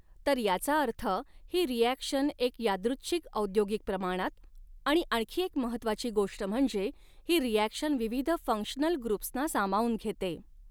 तर याचा अर्थ ही रिॲक्शन एक यादृच्छिक औद्योगिक प्रमाणात आणि आणखी एक महत्वाची गोष्ट म्हणजे ही रिॲक्शन विविध फ़ंक्शनल ग्रुप्सना सामावून घेते.